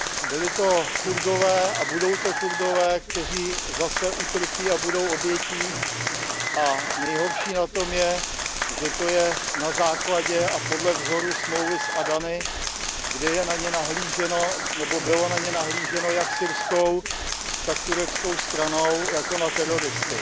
Byli to Kurdové a budou to Kurdové, kteří zase utrpí a budou obětí, a nejhorší na tom je, že to je na základě a podle vzoru smlouvy z Adany, kde je na ně nahlíženo nebo bylo na ně nahlíženo jak syrskou, tak tureckou stranou jako na teroristy.